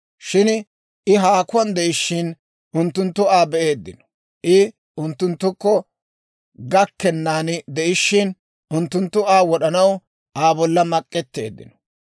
Shin I haakuwaan de'ishshin, unttunttu Aa be'eeddino; I unttunttukko gakkennan de'ishshin, unttunttu Aa wod'anaw Aa bolla mak'etteeddinno.